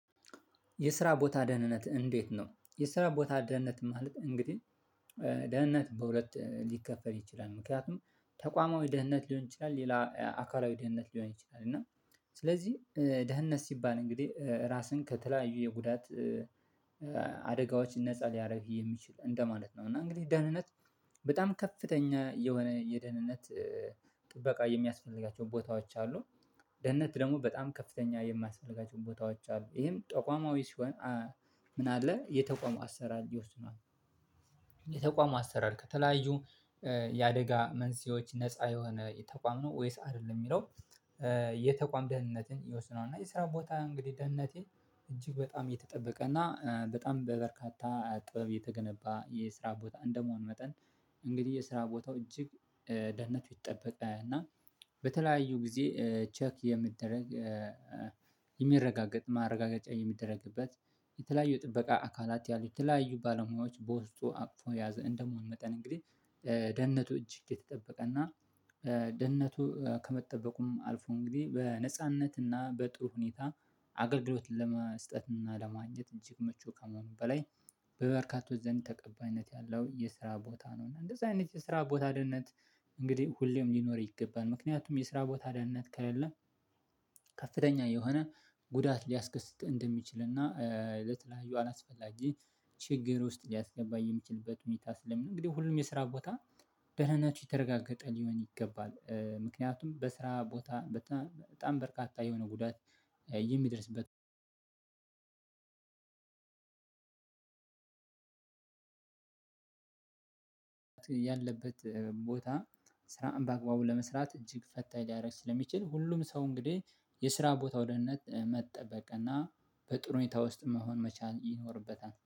የስራ ቦታ ደህንነት እንዴት ነው? የስራ ቦታ ደህንነት ማለት እንግዲህ ደህንነት በሁለት ሊከፈል ይችላል ምክንያቱም ተቋማዊ ደህንነት ሊሆን ይችላል ሌላ አካላዊ ደህንነት ሊሆን ይችላል እና ስለዚህ ደህንነት ሲባል እንግዲህ ራስን ከተለያዩ የጉዳት አደጋዎችን ነፃ ሊያደርግ የሚችል እንደማለት ነው። እና እንግዲህ ደህንነት በጣም ከፍተኛ የሆነ የደህንነት ጥበቃ የሚያስፈልጋቸውን ቦታዎች አሉ። ደህንነት ደግሞ በጣም ከፍተኛ የማያስፈልጋቸውም ቦታዎች አሉ። ይሄም ተቋማዊ ሲሆን ምን አለ የተቋሙ አሰራር የተቋሙ አሰራር ከተለያዩ የአደጋ መንስኤዎች ነፃ የሆነ ተቋም ነው ወይስ አይደለም የሚለው የተቋም ደህንነትን ይወስነዋል። እና የስራ ቦታ እንግዲህ ደህንነቴ እጅግ በጣም የተጠበቀና በጣም በበርካታ ጥበብ የተገነባ የስራ ቦታ እንደመሆኑ መጠን። እንግዲህ የስራ ቦታው እጅግ ደህንነቱ የተጠበቀ እና በተለያዩ ጊዜ ቼክ የሚደረግ የሚረጋገጥ ማረጋገጫ የሚደረግበት የተለያዩ የጥበቃ አካላት ያሉት የተለያዩ ባለሙያዎች በውስጡ አቅፎ የያዘ እንደመሆኑ መጠን እንግዲህ ደህንነቱ እጅግ የተጠበቀና ደህንነቱ ከመጠበቁም አልፎ እንግዲህ በነጻነትና በጥሩ ሁኔታ አገልግሎት ለመስጠትና ለማግኘት እጅግ ምቹ ከመሆኑም በላይ በበርካቶች ዘንድ ተቀባይነት ያለው የስራ ቦታ ነው። እና እንደዚህ አይነት የስራ ቦታ ደህንነት እንግዲህ ሁሌም ሊኖር ይገባል ምክንያቱም የስራ ቦታ ደህንነት ከሌለ ከፍተኛ የሆነ ጉዳት ሊያስከስት እንደሚችልና ለተለያዩ አላስፈላጊ ችግር ውስጥ ሊያስገባ የሚችልበት ሁኔታ ስለሚኖር እንግዲህ ሁሉም የስራ ቦታ ደህንነቱ የተረጋገጠ ሊሆን ይገባል። ምክንያቱም በስራ ቦታ በጣም በርካታ የሆነ ጉዳት የሚደርስበት ያለበት ቦታ ስራን በአግባቡ ለመስራት እጅግ ፈታኝ ሊያደርግ ስለሚችል ሁሉም ሰው እንግዲህ የስራ ቦታው ደህንነት መጠበቅ እና በጥሩ ሁኔታ ውስጥ መሆን መቻል ይኖርበታል